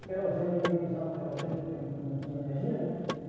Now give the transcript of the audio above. O querosene, ninguém usava o querosene porque não tinha energia, né?